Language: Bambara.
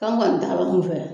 Kan kɔni t'a la fɛ